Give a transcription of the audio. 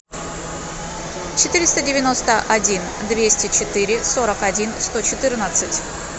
четыреста девяносто один двести четыре сорок один сто четырнадцать